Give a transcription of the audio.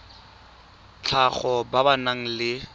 tlhago ba ba nang le